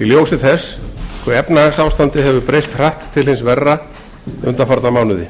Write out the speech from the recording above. í ljósi þess hve efnahagsástandið hefur breyst hratt til hins verra undanfarna mánuði